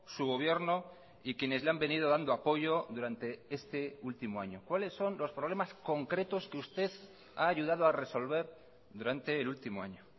su gobierno y quienes le han venido dando apoyo durante este último año cuáles son los problemas concretos que usted ha ayudado a resolver durante el último año